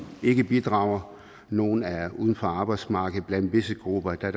ikke bidrager nogle er uden for arbejdsmarkedet blandt visse grupper er